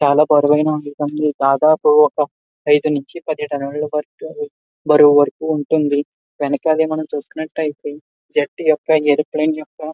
నెల బరువు దాదపు వక ఐదు నుంచి పది టన్నుల వరకు బరువు వరకు ఉంటుంది వెనకాలే మనం చూసుకున్నటైతే జెట్ యొక్క ఏరోప్లేన్ యొక్క --